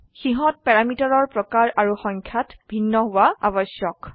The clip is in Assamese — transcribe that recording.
সিহত প্যাৰিমিটাৰৰ প্ৰকাৰ আৰু সংখ্যাত ভিন্ন হোৱা আবশ্যক